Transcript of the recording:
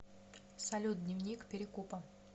салют дневник перекупа